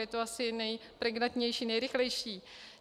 Je to asi nejpregnantnější, nejrychlejší.